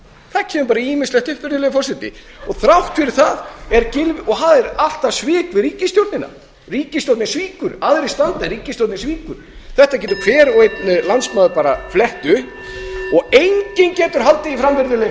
það kemur bara ýmislegt upp virðulegi forseti þrátt fyrir það er gylfi og það er alltaf svik við ríkisstjórnina ríkisstjórnin svíkur aðrir standa en ríkisstjórnin svíkur þetta getur hver og einn landsmaður bara flett upp og enginn getur haldið því fram virðulegi